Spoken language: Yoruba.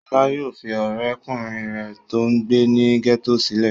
Ṣọlá yóò fi ọ̀rẹ́ kùnrin rẹ̀ tó ń gbé ní gẹ́tò sílẹ̀.